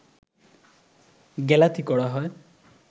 গ্যালাথি করা হয়